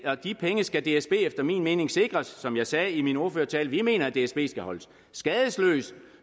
og de penge skal dsb efter min mening sikres som jeg sagde i min ordførertale vi mener at dsb skal holdes skadesløs